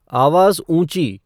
आवाज़ ऊँची